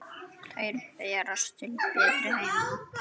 Þeir berast til betri heima.